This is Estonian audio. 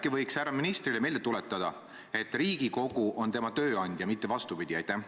Äkki võiks härra ministrile meelde tuletada, et Riigikogu on tema tööandja, mitte vastupidi!